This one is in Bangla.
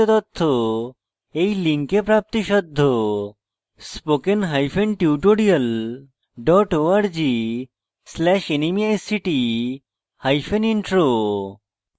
এই বিষয়ে বিস্তারিত তথ্য এই লিঙ্কে প্রাপ্তিসাধ্য spoken hyphen tutorial dot org slash nmeict hyphen intro